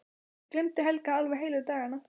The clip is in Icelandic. Ég gleymdi Helga alveg heilu dagana.